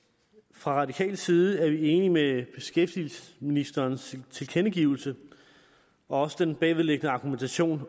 fra radikal side er vi enige i beskæftigelsesministerens tilkendegivelse også den bagvedliggende argumentation